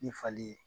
Ni fali ye